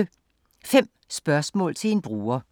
5 spørgsmål til en bruger